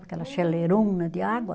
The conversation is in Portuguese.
Aquela chaleirona de água.